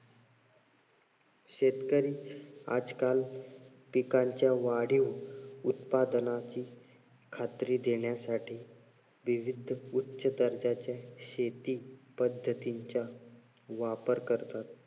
शेतकरी आजकाल पिकाच्या वाढीव उत्पादनाची खात्री देण्यासाठी विविध उच्च दर्जाच्या शेती पद्धतींच्या वापर करतात.